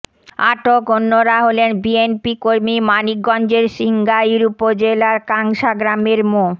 আটক অন্যরা হলেন বিএনপিকর্মী মানিকগঞ্জের সিংগাইর উপজেলার কাংশা গ্রামের মো